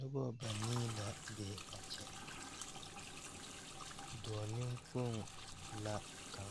Nobɔ banii la be a kyɛ dɔɔ neŋkpoŋ la kaŋ